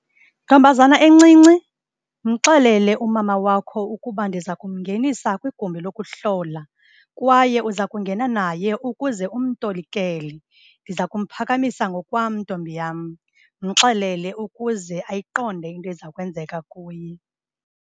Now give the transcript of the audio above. Ntombazana encinci, mxelele umama wakho ukuba ndiza kumngenisa kwigumbi lokuhlola kwaye uza kungena naye ukuze umtolikele. Ndiza kumphakamisa ngokwam, ntombi yam. Mxelele ukuze ayiqonde into ezakwenzeka kuye.